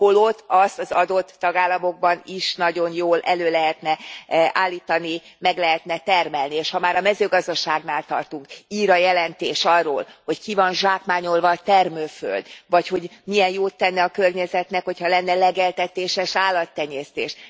Holott azt az adott tagállamokban is nagyon jól elő lehetne állítani, meg lehetne termelni, és ha már a mezőgazdaságnál tartunk, ír a jelentés arról, hogy ki van zsákmányolva a termőföld, vagy hogy milyen jót tenne a környezetnek, hogy ha lenne legeltetéses állattenyésztés.